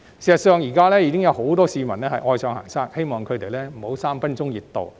事實上，現時已有很多市民愛上行山，希望他們不要只有"三分鐘熱度"。